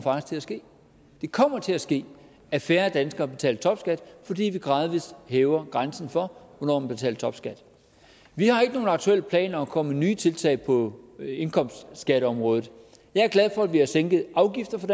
til at ske det kommer til at ske at færre danskere betaler topskat fordi vi gradvis hæver grænsen for hvornår man betaler topskat vi har ikke nogen aktuelle planer om at komme med nye tiltag på indkomstskatteområdet jeg er glad for at vi har sænket afgifter for